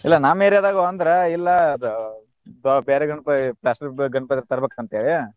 ಇಲ್ಲಾ ನಮ್ಮ್ area ದಾಗು ಅಂದ್ರ ಇಲ್ಲಾ ಅದ~ ಬ~ ಬ್ಯಾರೆ ಗಣಪ plastic ಗಣಪತಿ ತರ್ಬೆಕ ಅಂತ್ ಹೇಳಿ.